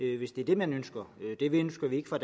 det hvis det er det man ønsker det ønsker vi ikke fra